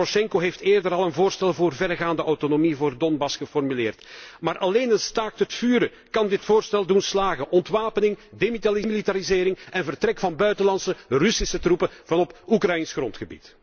President Porosjenko heeft eerder al een voorstel voor verregaande autonomie voor Donbass geformuleerd, maar alleen een staakt het vuren kan dit voorstel doen slagen ontwapening, demilitarisering en vertrek van buitenlandse Russische troepen uit Oekraïens grondgebied.